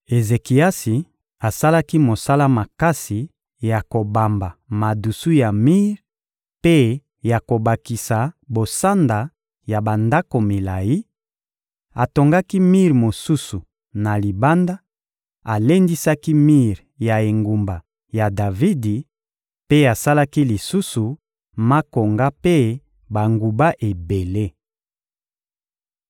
Ezekiasi asalaki mosala makasi ya kobamba madusu ya mir mpe ya kobakisa bosanda ya bandako milayi; atongaki mir mosusu na libanda, alendisaki mir ya engumba ya Davidi mpe asalaki lisusu makonga mpe banguba ebele.